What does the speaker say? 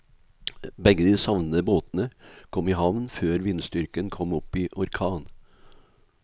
Begge de savnede båtene kom i havn før vindstyrken kom opp i orkan.